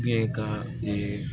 ka